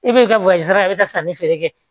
E b'i ka sanni feere kɛ